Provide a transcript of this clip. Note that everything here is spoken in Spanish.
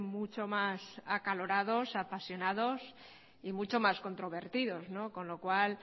mucho más acalorados apasionados y mucho más controvertidos con lo cual